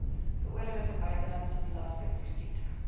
geoorloofde buitelandse belastingkrediete